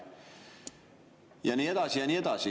Ja nii edasi ja nii edasi.